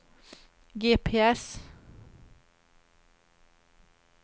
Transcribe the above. GPS